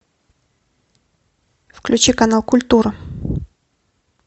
включи канал культура